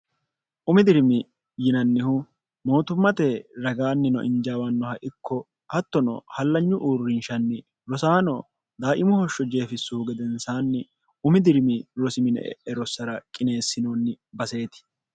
umi dirimi yinannihu mootummate ragaannino injaawannoha ikko hattono hallanyu uurrinshanni rosaano daaimuhoshsho jeefissuhu gedensaanni umi dirimi rosimine e e rossara qineessinoonni baseeti